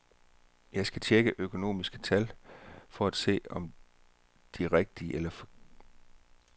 Jeg skal tjekke økonomiske tal, for at se om de rigtige eller forkerte.